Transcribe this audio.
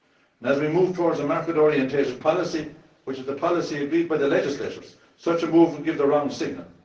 And as we move towards a market orientated policy, which is the policy agreed by the legislators, such a move would give the wrong signal.